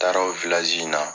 Taara o in na.